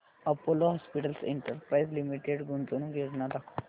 Apollo hospitals enterprise limited गुंतवणूक योजना दाखव